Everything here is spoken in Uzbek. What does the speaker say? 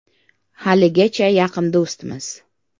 Haligacha yaqin do‘stmiz.